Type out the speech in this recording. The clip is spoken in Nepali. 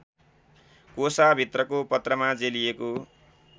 कोसाभित्रको पत्रमा जेलिएको